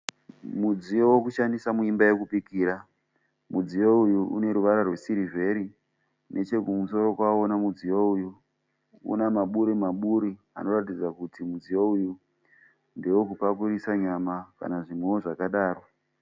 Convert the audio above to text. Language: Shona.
Mudziyo wekushandisa muimba yekubikira. Mudziyo uyu une ruvara rwesirivheri. Nechekumusoro kwawo mudziyo uyu une maburi maburi anoratidza kuti mudziyo uyu ndewekupakurisa nyama kana zvimwewo zvakadaro.